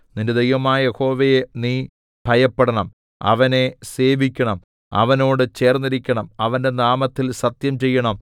നിന്റെ ദൈവമായ യഹോവയെ നീ ഭയപ്പെടണം അവനെ സേവിക്കണം അവനോട് ചേർന്നിരിക്കണം അവന്റെ നാമത്തിൽ സത്യം ചെയ്യണം